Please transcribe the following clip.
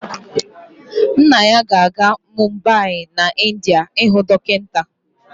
Nna ya ga-aga Mumbai n'India ịhụ dọkịta